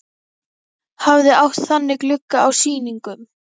Hafði átt þannig glugga á sýningum.